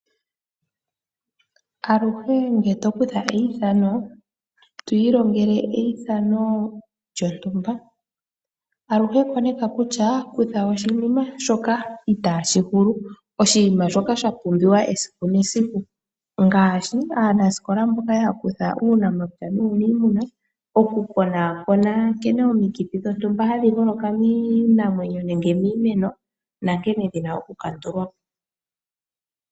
Aluhe ngele to kutha eithano, twi ilongele eithano lyontumba aluhe koneka kutya kutha oshinima shoka itaashi hulu. Oshinima shoka sha pumbiwa esiku nesiku ngaashi aanasikola mboka ya kutha uunamapya nuunimuna. Oku kona kona nkene omiikithi dhontumba hadhi holoka miinamwenyo nankene dhina oku kandulwapo.